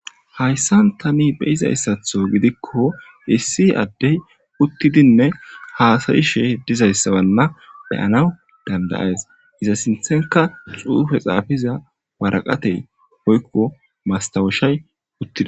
Hayssan tani beyizayssatho gidikko issi addey uttidinne haasayishe dizayssawanna beyanaw dandayees iza sinthenka xuufe xaafiza waraqatey hoykko mastawushay uttidi.